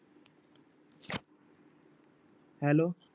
Hello